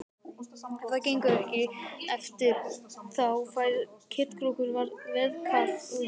Ef það gengur ekki eftir þá fær Ketkrókur veðkall frá Hurðaskelli.